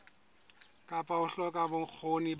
kapa ho hloka bokgoni ba